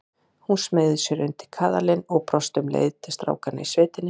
Hún smeygði sér undir kaðalinn og brosti um leið til strákanna í sveitinni.